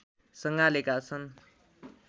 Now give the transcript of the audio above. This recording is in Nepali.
सँगालेका छन्